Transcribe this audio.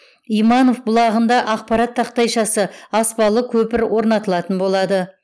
иманов бұлағында ақпарат тақтайшасы аспалы көпір орнатылатын болады